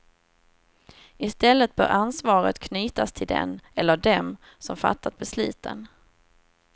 I stället bör ansvaret knytas till den eller dem som fattat besluten.